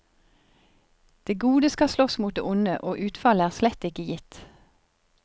Det gode skal slåss mot det onde, og utfallet er slett ikke gitt.